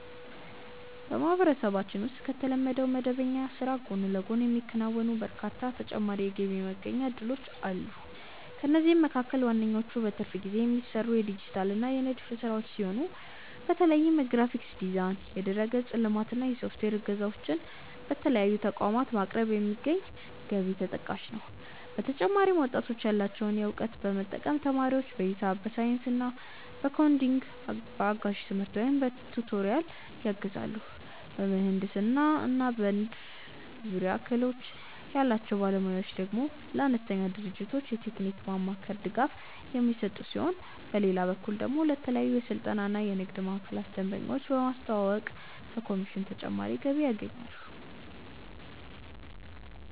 በማህበረሰባችን ውስጥ ከተለመደው መደበኛ ስራ ጎን ለጎን የሚከናወኑ በርካታ ተጨማሪ የገቢ ማስገኛ እድሎች አሉ። ከእነዚህም መካከል ዋነኞቹ በትርፍ ጊዜ የሚሰሩ የዲጂታል እና የንድፍ ስራዎች ሲሆኑ፣ በተለይም የግራፊክስ ዲዛይን፣ የድረ-ገጽ ልማት እና የሶፍትዌር እገዛዎችን ለተለያዩ ተቋማት በማቅረብ የሚገኝ ገቢ ተጠቃሽ ነው። በተጨማሪም ወጣቶች ያላቸውን እውቀት በመጠቀም ተማሪዎችን በሂሳብ፣ በሳይንስ እና በኮዲንግ በአጋዥ ትምህርት ወይም በቱቶሪያል ያግዛሉ። በምህንድስና እና በንድፍ ዙሪያ ክህሎት ያላቸው ባለሙያዎች ደግሞ ለአነስተኛ ድርጅቶች የቴክኒክ ማማከር ድጋፍ የሚሰጡ ሲሆን፣ በሌላ በኩል ደግሞ ለተለያዩ የስልጠና እና የንግድ ማዕከላት ደንበኞችን በማስተዋወቅ ከኮሚሽን ተጨማሪ ገቢ ያገኛሉ።